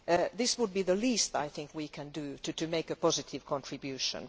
This would be the least, I think, we can do to make a positive contribution.